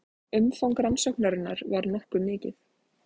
Umfang rannsóknarinnar var nokkuð mikið